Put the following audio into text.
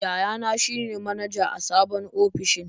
Yayana shi ne manaja a sabon ofishin.